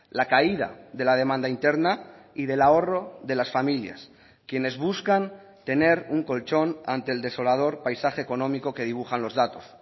la caída de la demanda interna y del ahorro de las familias quienes buscan tener un colchón ante el desolador paisaje económico que dibujan los datos